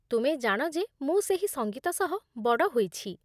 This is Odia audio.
ତୁମେ ଜାଣ ଯେ ମୁଁ ସେହି ସଙ୍ଗୀତ ସହ ବଡ଼ ହୋଇଛି।